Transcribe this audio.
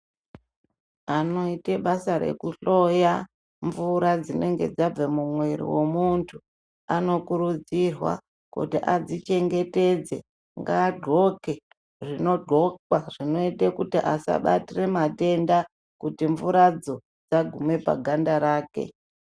Anoita basa rekuhloya mvura dzinenge dzabva mumwiri wemuntu anokurudzirwa kuti adzichengetedze ngaadxoke zvinodxokwa zvinoita kuti asabatira matenda kuti mvuradzo dzaguma paganda rake.